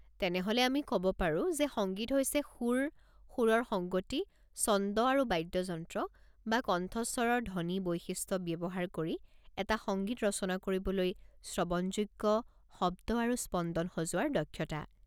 তেনেহ'লে আমি ক'ব পাৰোঁ যে সংগীত হৈছে সুৰ, সুৰৰ সংগতি, ছন্দ আৰু বাদ্যযন্ত্ৰ বা কণ্ঠস্বৰৰ ধ্বনি-বৈশিষ্ট্য ব্যৱহাৰ কৰি এটা সংগীত ৰচনা কৰিবলৈ শ্ৰৱণযোগ্য শব্দ আৰু স্পন্দন সজোৱাৰ দক্ষতা।